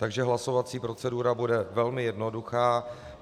Takže hlasovací procedura bude velmi jednoduchá.